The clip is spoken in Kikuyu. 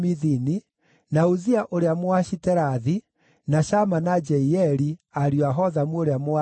na Uzia ũrĩa Mũashiterathi, na Shama na Jeieli, ariũ a Hothamu ũrĩa Mũaroeri,